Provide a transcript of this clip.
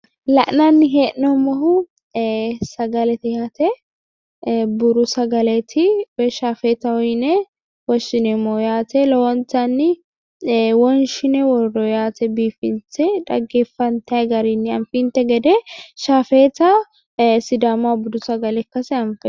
La'nanni hee'noommohu ee sagalete yaate buuru sagaleeti woyi shaafeetaho yine woshshineemmo yaate lowontanni wonshine worroyi yaate biifinse xaggeffantayi garinni anfinte gede shaafeeta sidaamaho budu sagale ikkase.